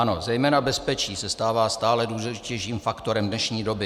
Ano, zejména bezpečí se stává stále důležitějším faktorem dnešní doby.